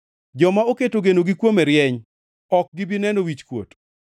Joma oketo genogi kuome rieny; ok gi bi neno wichkuot.